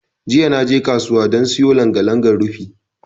Jiya naje kasuwa dan siyo langa-langa rufi.